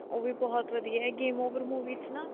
ਉਹ ਵੀ ਬਹੁਤ ਵਧੀਆ game over movie ਚ ਨਾ